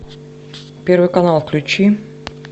первый канал включи